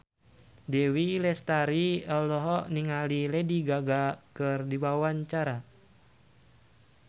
Dewi Lestari olohok ningali Lady Gaga keur diwawancara